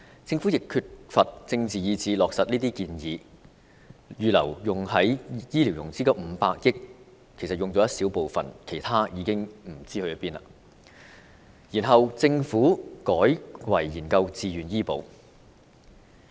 政府方面，缺乏政治意志落實強制醫保建議，預留作醫療融資的500億元只動用了一小部分，其餘不知所終，政府接着又改為研究自願醫保。